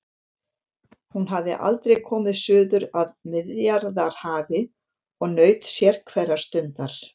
Hún hafði aldrei komið suður að Miðjarðarhafi og naut sérhverrar stundar.